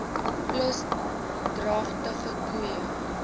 plus dragtige koeie